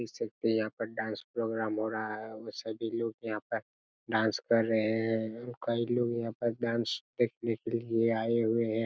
देख सकते है यहाँ पर डांस प्रोग्राम हो रहा है और सभी लोग यहाँ पर डांस कर रहे है और कई लोग यहाँ पर डांस देखने के लिए आये हुए हैं ।